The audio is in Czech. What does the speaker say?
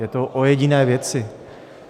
Je to o jediné věci.